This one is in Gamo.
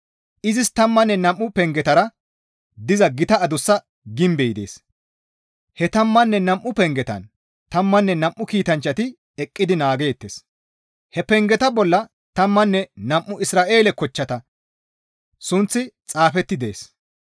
Izis tammanne nam7u pengetara diza gita adussa gimbey dees; he tammanne nam7u pengetan tammanne nam7u kiitanchchati eqqidi naageettes; he pengeta bolla tammanne nam7u Isra7eele kochchata sunththi xaafeti dees.